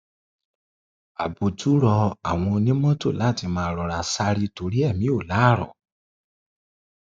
àbùtù rọ àwọn onímọtò láti máa rọra sáré torí èmi ò láárọ